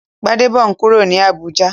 Gbadebo n kúrò ní Abùjá